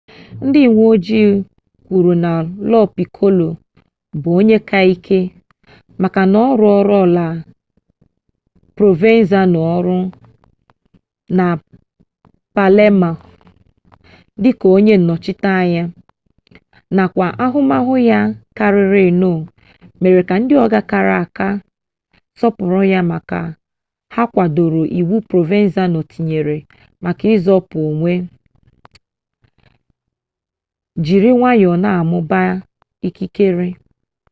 ndị uwe ojii kwuru na lo pikolo bụ onye ka dị ike maka na ọ rụọrọla provenzano ọrụ na palemo dị ka onye nnọchiteanya nakwa ahụmahụ ya karịrịnụ mere ka ndị ọga kara aka sọpụrụ ya maka ha kwadoro iwu provenzano tinyere maka izopu onwe jiri nwayọọ na-amụba ikikere